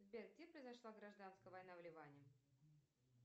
сбер где произошла гражданская война в ливане